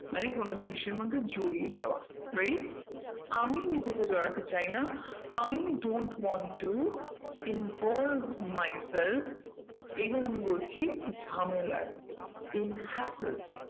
মানে কোনো জিনিসের মধ্যে জড়িয়ে যাওয়া right আমি নিজেকে জড়াতে চাই না i don't want to involve myself এবার আমি বলছি ঝামেলায় in hacker